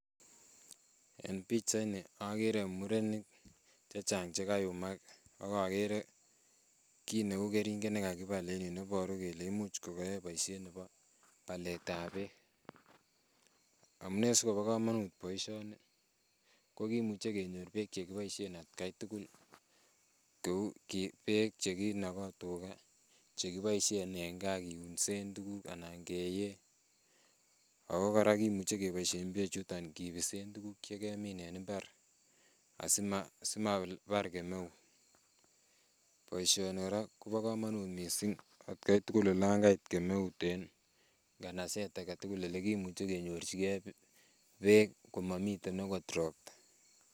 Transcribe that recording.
En pichaini okere murenik chechang chekayumak ak okere kiit neuu kering'et nekakibal en yuu neiboru kelee imuch kikiyoe boishet nebo baletab beek, amune sikobo komonut boishoni ko kimuche kenyor beek chekiboishen atkai tukul, beek chekinoko tukaa chekiboishen en kaa kiunsen tukuk anan keyee ak ko kora kimuche keboishen bechuton kibisen tukuk chekemine en imbar asimabar kemeut, boishoni kora kobokomonut mising atkai tukul olon Kait kemeut en nganaset aketukul elekimuche kenyorchike beek komomiten okot robta.